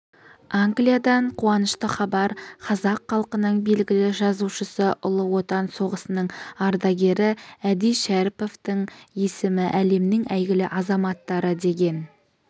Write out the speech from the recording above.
англиядан қуанышты хабар қазақ халқының белгілі жазушысы ұлы отан соғысының ардагері әди шәріповтің есімі әлемнің әйгілі азаматтары деген